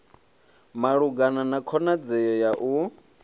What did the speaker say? malugana na khonadzeo ya u